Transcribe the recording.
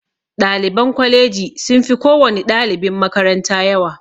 Ɗaliban kwalaji sun fi kowani ɗalibin makaranta yawa